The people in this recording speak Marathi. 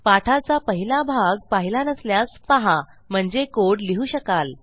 पाठाचा पहिला भाग पाहिला नसल्यास पहा म्हणजे कोड लिहू शकाल